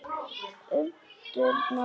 Umturna öllu.